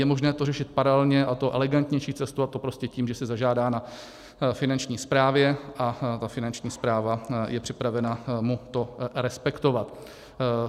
Je možné to řešit paralelně, a to elegantnější cestou, a to prostě tím, že si zažádá na Finanční správě a ta Finanční správa je připravena mu to respektovat.